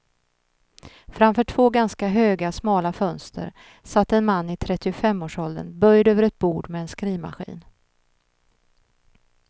Framför två ganska höga, smala fönster satt en man i trettiofemårsåldern böjd över ett bord med en skrivmaskin.